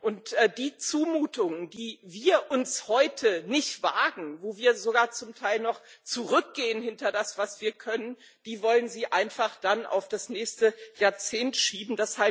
Und die Zumutungen, die wir heute nicht wagen, wo wir sogar zum Teil noch zurückgehen hinter das, was wir können, die wollen Sie einfach dann auf das nächste Jahrzehnt schieben.